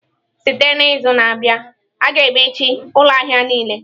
Site n'izu na-abịa, a ga-emechi ụlọ ahịa niile.